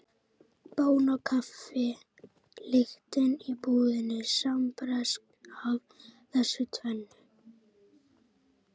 Bón og kaffi lyktin í íbúðinni sambreyskja af þessu tvennu.